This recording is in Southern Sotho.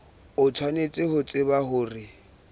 o tshwanetse ho tseba hore